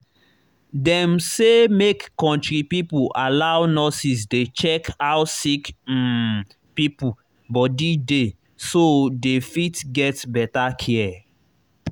dem say make country people allow nurses dey check how sick um pipo body dey so dey fit get better care.